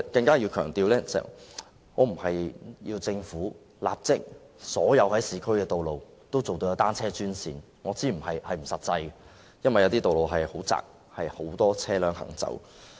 我要強調，我並非要求政府立即在所有市區道路設立單車專線，我知道這是不切實際的，因為有些道路很狹窄，有很多車輛行駛。